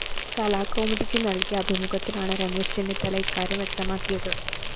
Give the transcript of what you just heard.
കലാകൗമുദിക്ക് നല്‍കിയ അഭിമുഖത്തിലാണ് രമേശ് ചെന്നിത്തല ഇക്കാര്യം വ്യക്തമാക്കിയത്